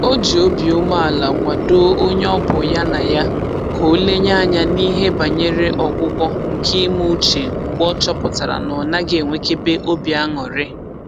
O ji obi umeala kwadoo onye ọ bụ ya na ya ka o lenye anya n'ihe banyere ọgwụgwọ nke ime uche mgbe ọ chọpụtara na ọ naghị enwekebe obi aṅụrị